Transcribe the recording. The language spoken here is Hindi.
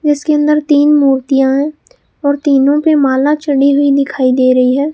जिसके अंदर तीन मूर्तियां हैं और तीनों पे माला चढ़ी हुई दिखाई दे रही है।